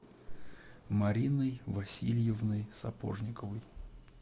мариной васильевной сапожниковой